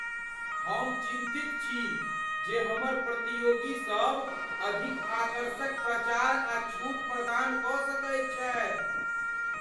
हम चिन्तित छी जे हमर प्रतियोगीसभ अधिक आकर्षक प्रचार आ छूट प्रदान कऽ सकैत छथि।